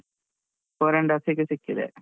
Four and half ಗೆ ಸಿಕ್ಕಿದೆ.